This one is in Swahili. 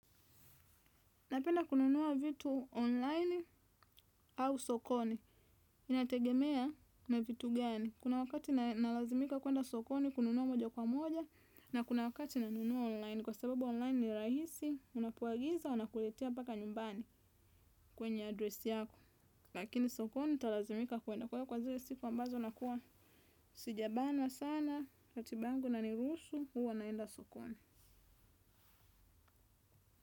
Napenda kununua vitu online au sokoni. Inategemea na vitu gani. Kuna wakati nalazimika kwenda sokoni kununua moja kwa moja. Na kuna wakati nanunua online. Kwa sababu online ni rahisi, unapoagiza wanakuletea mpaka nyumbani kwenye adresi yako. Lakini sokoni nitalazimika kwenda kwa iyo kwa zile siku ambazo nakuwa. Sijabanwa sana, ratiba yangu inaniruhusu, huwa naenda sokoni.